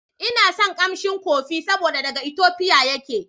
Ina son kamshin kofi saboda daga Ethiopia yake.